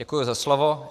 Děkuji za slovo.